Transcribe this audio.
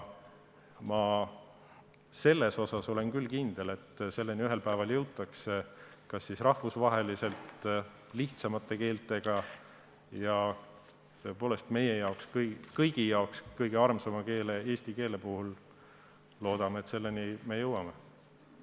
Ma olen küll kindel, et selleni ühel päeval jõutakse, näiteks rahvusvaheliselt lihtsamate keelte puhul, aga loodame, et tõepoolest meie kõigi kõige armsama keele, eesti keele puhul me ka selleni jõuame.